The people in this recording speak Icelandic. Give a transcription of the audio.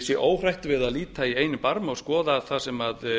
sé óhrætt við að líta eigi barm og skoða það sem